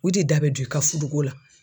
U te da bɛ don i ka fudu ko la.